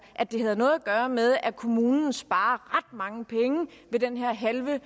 at det havde noget at gøre med at kommunen sparer ret mange penge på den her halve